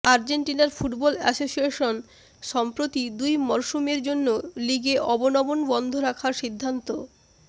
আর্জেন্টিনার football association সম্প্রতি দুই মরসুমের জন্য লিগে অবনমন বন্ধ রাখার সিদ্ধান্ত